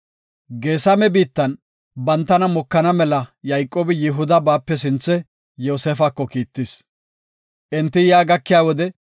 Geesame biittan bantana mokana mela Yayqoobi Yihuda baape sinthe Yoosefako kiittis. Enti yaa gakiya wode,